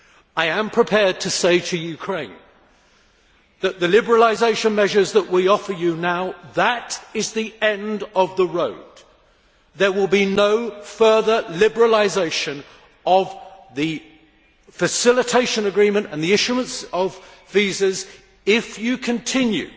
I am prepared to say to Ukraine that the liberalisation measures that we offer you now represent the end of the road. There will be no further liberalisation of the facilitation agreement or the issue of visas if you continue